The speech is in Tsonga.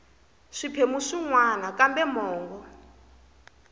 swiphemu swin wana kambe mongo